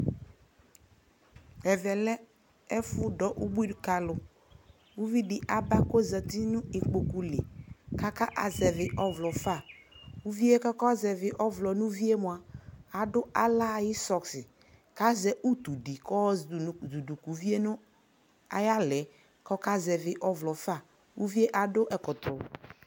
ɛvɛ lɛ ɛƒʋ dɔ ʋbʋi dʋ ka alʋ kʋ ʋvi di aba kʋ ɔzati nʋ ikpɔkʋ li kʋ aka zɛvi ɔvlɔ ƒa, ʋviɛ kʋ ɔka zɛvi ɔvlɔ nʋ ʋviɛ mʋa adʋ alaa ayi sɔsksi kʋ azɛ ʋtʋ di kʋ ayɔ zʋdʋ ka ʋviɛ nʋ ayi ala kʋ ɔka zɛvi ɔvlɔ ƒa, ʋviɛ adʋ ɛkɔtɔ